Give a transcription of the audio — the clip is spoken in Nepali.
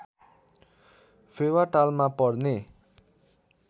फेवा तालमा पर्ने